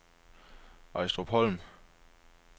Ejstrupholm